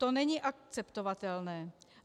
To není akceptovatelné.